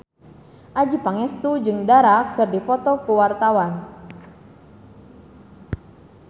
Adjie Pangestu jeung Dara keur dipoto ku wartawan